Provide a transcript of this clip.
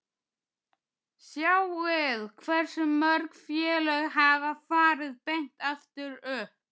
Sjáið hversu mörg félög hafa farið beint aftur upp?